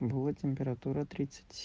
было температура тридцать